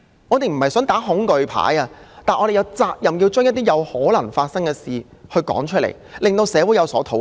我們不是想打"恐懼牌"，但我們有責任把一些可能發生的事說出來，讓社會討論。